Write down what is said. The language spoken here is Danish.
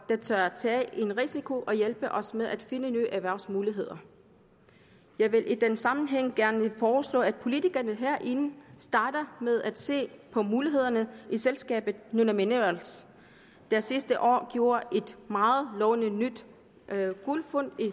der tør tage en risiko og hjælpe os med at finde nye erhvervsmuligheder jeg vil i den sammenhæng gerne foreslå at politikerne herinde starter med at se på mulighederne i selskabet nunaminerals der sidste år gjorde et meget lovende nyt guldfund i